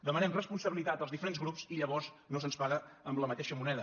demanem responsabilitat als diferents grups i llavors no se’ns paga amb la mateixa moneda